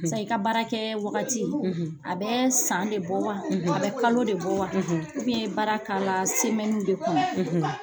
Sa i ka baara kɛ wagati, a bɛ san de bɔ wa? A bɛ kalo de bɔ wa? i be baara k'ala de kɔnɔ.